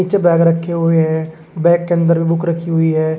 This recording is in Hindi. नीचे बैग रखें हुये हैं बैग के अन्दर बुक रखी हुई है।